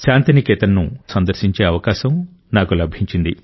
శాంతి నికేతన్ ను 2018లో సందర్శించే అవకాశం నాకు లభించింది